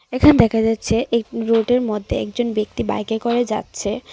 এখানে দেখা যাচ্ছে এই রোডের মধ্যে একজন ব্যক্তি বাইকে করে যাচ্ছে .